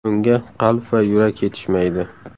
Unga qalb va yurak yetishmaydi.